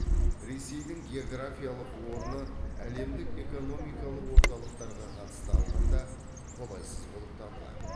ресейдің географиялық орны әлемдік экономикалық орталықтарға қатысты алғанда қолайсыз болып табылады